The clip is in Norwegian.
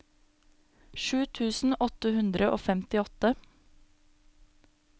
sju tusen åtte hundre og femtiåtte